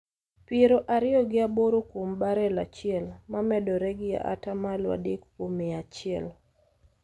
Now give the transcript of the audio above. piero ariyo gi aboro kuom barel achiel, ma medore gi ata malo adek kuom mia achiel.